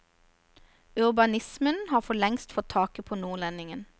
Urbanismen har forlengst fått taket på nordlendingen.